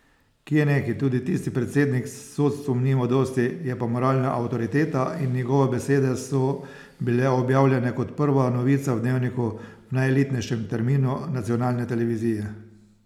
Kje neki, tudi tisti predsednik s sodstvom nima dosti, je pa moralna avtoriteta in njegove besede so bile objavljene kot prva novica v dnevniku v najelitnejšem terminu nacionalne televizije.